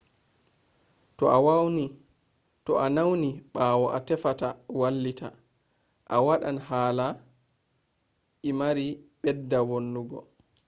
to a nawni ɓawo an tefata wallita a waɗan hala i mai bedda vonnugo